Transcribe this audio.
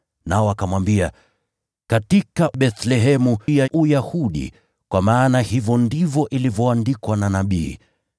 Nao wakamwambia, “Katika Bethlehemu ya Uyahudi, kwa maana hivyo ndivyo ilivyoandikwa na nabii: